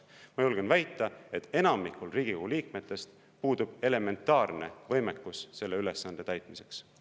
Ma julgen väita, et enamikul Riigikogu liikmetest puudub elementaarne võimekus selle ülesande täitmiseks.